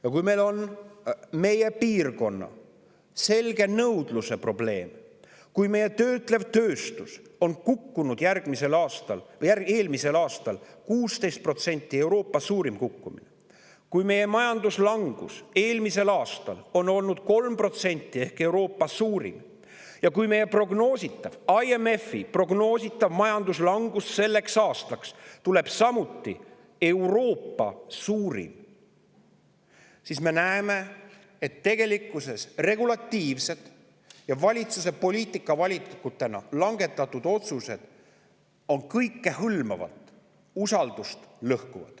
Ja kui meie piirkonnas on selge nõudluse probleem, kui meie töötlev tööstus kukkus eelmisel aastal 16% – Euroopa suurim kukkumine –, kui meie majanduslangus oli eelmisel aastal 3% ehk Euroopa suurim ja IMF prognoosib meile selleks aastaks samuti Euroopa suurimat majanduslangust, siis me näeme, et regulatiivsed ja valitsuse poliitikavalikutena langetatud otsused lõhuvad tegelikkuses kõikehõlmavalt usaldust.